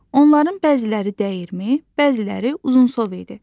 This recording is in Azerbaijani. Onların bəziləri dəyirmi, bəziləri uzunsov idi.